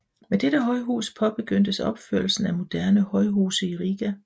Med dette højhus påbegyndtes opførelsen af moderne højhuse i Riga